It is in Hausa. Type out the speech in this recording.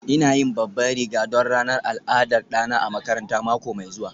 ina yin babban riga don ranar al'adar ɗana a makaranta mako mai zuwa